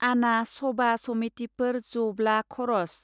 आना सबा समिटिफोर ज ब्ला खरच.